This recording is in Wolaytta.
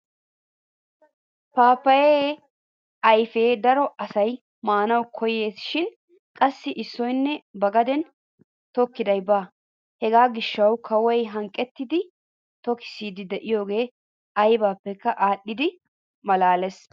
Paappayaa ayfiyaa daro asay maanawu koyyees shin qassi issoyinne ba gaden tokkiday baawa. Hegaa gishshaasi kawoy hanqqettidi tokissiidi de'iyoge aybippeka adhiidi malaales!